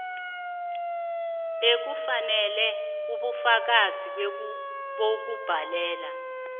bewufeksele ubufakazi bokubhadela